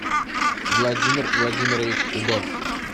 владимир владимирович удод